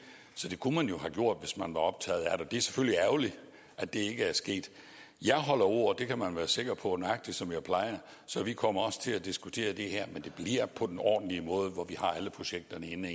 så det kunne man have gjort hvis man var optaget af det det er selvfølgelig ærgerligt at det ikke er sket jeg holder ord og det kan man være sikker på nøjagtig som jeg plejer så vi kommer også til at diskutere det her men det bliver på den ordentlige måde hvor vi har alle projekterne inde